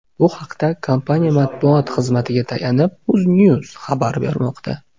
Bu haqda, kompaniya matbuot xizmatiga tayanib, UzNews xabar bermoqda .